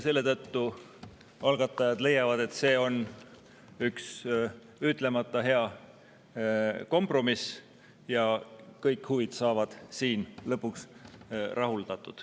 Selle tõttu algatajad leiavad, et see on üks ütlemata hea kompromiss ja kõik huvid saavad siin lõpuks rahuldatud.